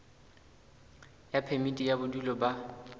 ya phemiti ya bodulo ba